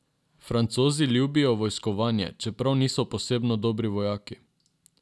Francozi ljubijo vojskovanje, čeprav niso posebno dobri vojaki.